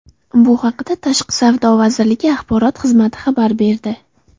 Bu haqda Tashqi savdo vazirligi axborot xizmati xabar berdi .